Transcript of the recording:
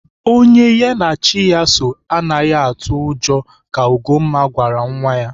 Onye ha na chi ya soo anaghị atụ ụjọ ka Ugomma gwara nwa ya.